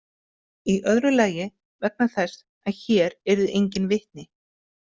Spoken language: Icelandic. Í öðru lagi vegna þess að hér yrðu engin vitni.